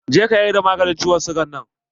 Je ka yarda maganin ciwon siga nan!